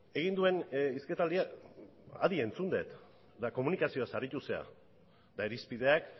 egin duen hizketaldia adi entzun dut eta komunikazioaz aritu zera eta irizpideak